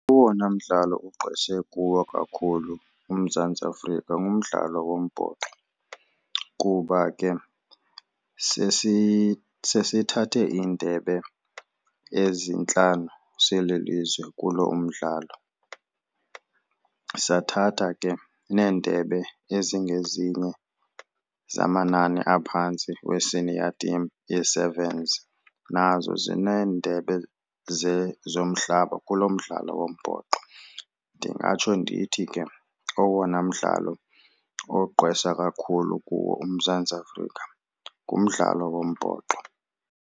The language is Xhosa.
Owona mdlalo ugqwese kuwo kakhulu uMzantsi Afrika ngumdlalo wombhoxo kuba ke sesithathe iindebe ezintlanu sililizwe kulo umdlalo. Sathatha ke neendebe ezingezinye zamanani aphantsi we-senior team yee-servants nazo zineendebe zomhlaba kulo mdlalo wombhoxo. Ndingatsho ndithi ke owona mdlalo ogqwesa kakhulu kuwo uMzantsi Afrika ngumdlalo wombhoxo.